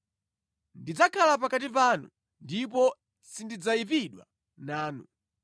Ndidzakhala pakati panu, ndipo sindidzayipidwa nanu.